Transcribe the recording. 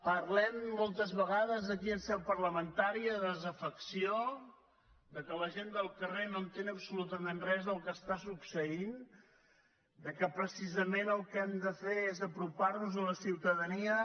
parlem moltes vegades aquí en seu parlamentària de desafecció que la gent del carrer no entén absolutament res del que està succeint que precisament el que hem de fer és apropar nos a la ciutadania